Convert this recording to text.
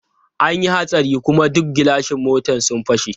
An yi hatsari kuma duk gilashin mota sun fashe.